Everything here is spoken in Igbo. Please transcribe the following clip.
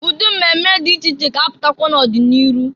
Ụdị mmemme dị iche iche ga-apụtakwa n'ọdị n'iru.